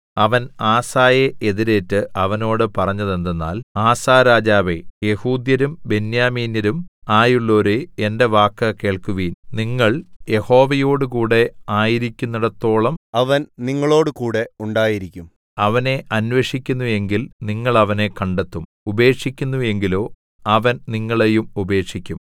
അവൻ ആസയെ എതിരേറ്റ് അവനോട് പറഞ്ഞതെന്തെന്നാൽ ആസ രാജാവേ യെഹൂദ്യരും ബെന്യാമീന്യരും ആയുള്ളോരേ എന്റെ വാക്കു കേൾപ്പീൻ നിങ്ങൾ യഹോവയോടുകൂടെ ആയിരിക്കുന്നേടത്തോളം അവൻ നിങ്ങളോടുകൂടെ ഉണ്ടായിരിക്കും അവനെ അന്വേഷിക്കുന്നു എങ്കിൽ നിങ്ങൾ അവനെ കണ്ടെത്തും ഉപേക്ഷിക്കുന്നു എങ്കിലോ അവൻ നിങ്ങളെയും ഉപേക്ഷിക്കും